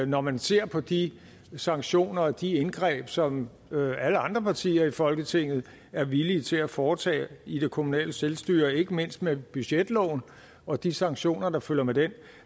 når man ser på de sanktioner og de indgreb som alle andre partier i folketinget er villige til at foretage i det kommunale selvstyre ikke mindst med budgetloven og de sanktioner der følger med den